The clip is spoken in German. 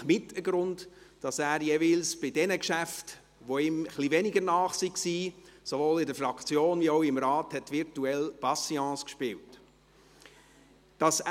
Wahrscheinlich ist dies mit ein Grund, weshalb er jeweils bei den Geschäften, die ihm etwas weniger nah waren, sowohl in der Fraktion als auch im Rat virtuell «Patience» gespielt hat.